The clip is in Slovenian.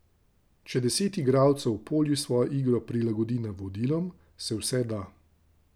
Če deset igralcev v polju svojo igro prilagodi navodilom, se vse da.